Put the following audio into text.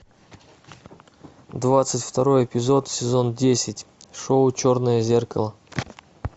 двадцать второй эпизод сезон десять шоу черное зеркало